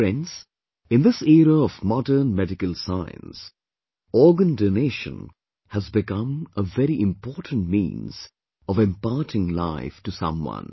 Friends, in this era of modern medical science, organ donation has become a very important means of imparting life to someone